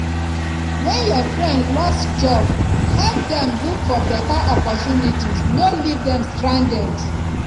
when your friend lose job help dem look for better opportunities no leave dem stranded